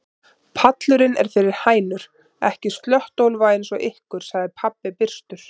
Pallurinn er fyrir hænur, ekki slöttólfa eins og ykkur, sagði pabbi byrstur.